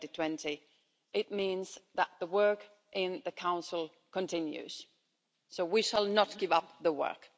2020. It means that the work in the Council continues, so we shall not give up the work.